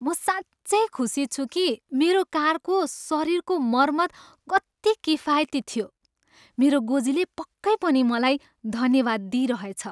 म साँच्चै खुसी छु कि मेरो कारको शरीरको मरम्मत कति किफायती थियो, मेरो गोजीले पक्कै पनि मलाई धन्यवाद दिइरहेछ!